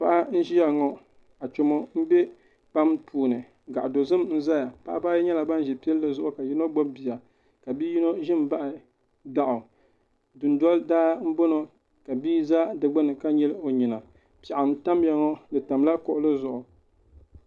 Paɣa n ʒiya ŋo achomo n bɛ kpam puuni gaɣa dozim n ʒɛya paɣaba ayi nyɛla ban ʒi pilli zuɣu ka yino gbubi bia ka bia yino ʒi n baɣa daɣu dundo daa n boŋo ka bia ʒɛ di gbuni ka nyili o nyina piɛɣu n tamya ŋo di tamla kuɣuli zuɣu